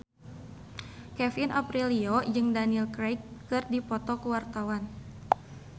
Kevin Aprilio jeung Daniel Craig keur dipoto ku wartawan